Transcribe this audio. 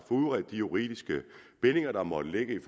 udredet de juridiske bindinger der måtte ligge i